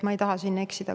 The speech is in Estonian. Ma ei taha siin eksida.